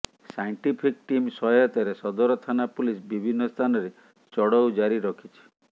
scientific team ସହାୟତାରେ ସଦର ଥାନା ପୁଲିସ ବିଭିନ୍ନ ସ୍ଥାନରେ ଚଢଉ ଜାରି ରଖିଛି